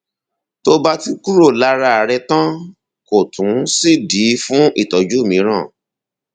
tó bá ti kúrò lára rẹ tán kò tún sídìí fún ìtọjú mìíràn